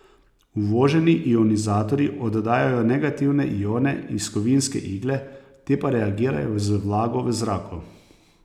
Uvoženi ionizatorji oddajajo negativne ione iz kovinske igle, te pa reagirajo z vlago v zraku.